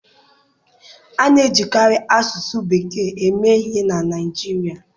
A na-ejikarị asụsụ bekee eme ihe na Naịjirịa.